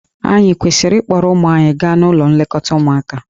Ànyị kwesịrị ịkpọrọ ụmụ anyị gaa n'ụlọ nlekọta ụmụaka?